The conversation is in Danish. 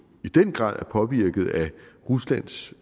i den grad påvirket af ruslands